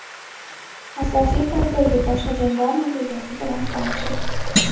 Asosiy kardagi boshqa janglar natijasi bilan tanishing: !